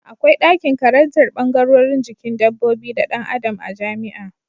Akwai dakin karantar bangarorin jikin dabbobi da Dan Adam a jamia